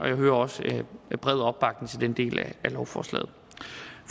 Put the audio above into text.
jeg hører også en bred opbakning til den del af lovforslaget